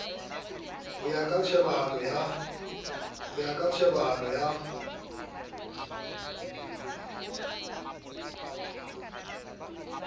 ho ya ka tjhebahalo ya